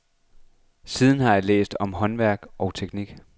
Siden har jeg læst om håndværk og teknik.